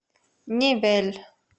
невель